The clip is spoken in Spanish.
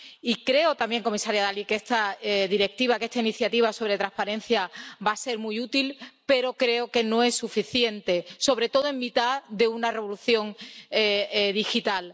Y creo también, comisaria Dalli, que esta Directiva, que esta iniciativa sobre transparencia va a ser muy útil, pero creo que no es suficiente, sobre todo en mitad de una revolución digital.